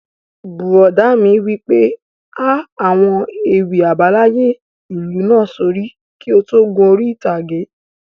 Bùrọ̀dá mi wí pé 'há àwọn ewì àbáláyé ìlú náà sórí kí o tó gun orí ìtàgé